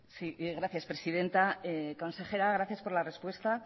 sí gracias presidenta consejera gracias por la respuesta